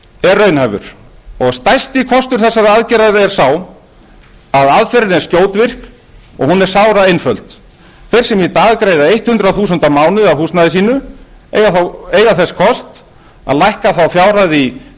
er raunhæfur og stærsti kostur þessarar aðgerðar er sá að aðferðin er skjótvirk og hún er sáraeinföld þeir sem í dag greiða hundrað þúsund krónur á mánuði af húsnæði sínu eiga þess kost að lækka þá fjárhæð í